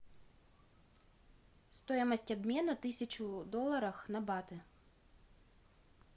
стоимость обмена тысячи долларов на баты